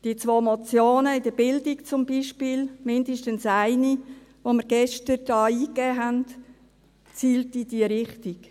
Die zwei Motionen in der Bildung zum Beispiel, mindestens eine, die wir gestern hier eingegeben haben, zielt in diese Richtung.